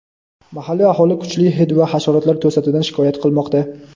Mahalliy aholi kuchli hid va hasharotlar to‘dasidan shikoyat qilmoqda.